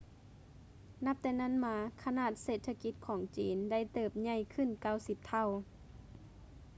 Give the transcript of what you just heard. ນັບແຕ່ນັ້ນມາ ຂະໜາດເສດຖະກິດຂອງຈີນໄດ້ເຕີບໃຫຍ່ຂຶ້ນ 90 ເທົ່າ